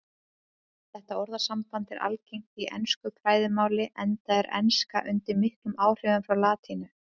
Þetta orðasamband er algengt í ensku fræðimáli enda er enska undir miklum áhrifum frá latínu.